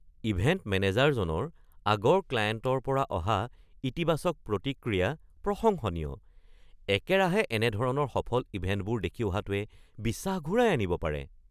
Event মেনেজাৰৰ আগৰ ক্লাইণ্টৰ পৰা অহা ইতিবাচক প্ৰতিক্ৰিয়া প্ৰশংসনীয়। একেৰাহে এনে ধৰণৰ সফল ইভেণ্টবোৰ দেখি অহাটোৱে বিশ্বাস ঘূৰাই আনিব পাৰে।